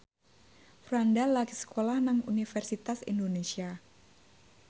Franda lagi sekolah nang Universitas Indonesia